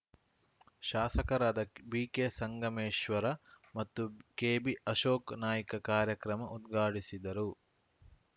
ಶಾಸಕರಾದ ಬಿಕೆ ಸಂಗಮೇಶ್ವರ ಮತ್ತು ಕೆಬಿ ಅಶೋಕ್‌ ನಾಯ್ಕ ಕಾರ್ಯಕ್ರಮ ಉದ್ಘಾಟಿಸಿದರು